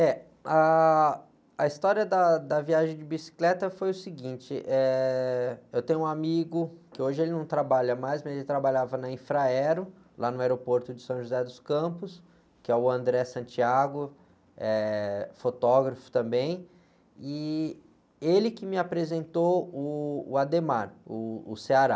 É, ah, a história da, da viagem de bicicleta foi o seguinte, eh eu tenho um amigo que hoje ele não trabalha mais, mas ele trabalhava na Infraero, lá no aeroporto de São José dos Campos, que é o, é fotógrafo também, e ele que me apresentou o, uh, o.